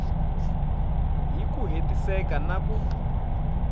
hi ku hetiseka na ku